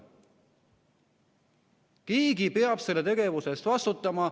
Keegi peab selle tegevuse eest vastutama.